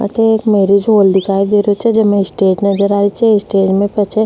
अठे एक marriage hall दिखाई दे रही छे जेमे स्टेज नजर आ रही छे स्टेज में पाछ --